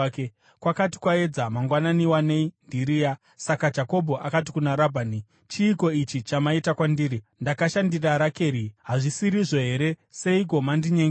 Kwakati kwaedza mangwanani wanei ndiRea! Saka Jakobho akati kuna Rabhani, “Chiiko ichi chamaita kwandiri? Ndakashandira Rakeri, hazvisirizvo here? Seiko mandinyengera?”